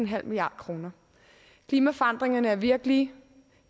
milliard kroner klimaforandringerne er virkelige